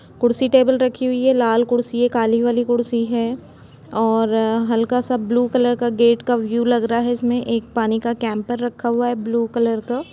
कुर्सी टेबल रखी हुई है लाल कुर्सी है काली वाली कुर्सी है और हल्का सा ब्लू कलर गेट का व्यूक लग रहा है इसमे एक पानी का कैंपर रखा हुआ है ब्लू कलर का--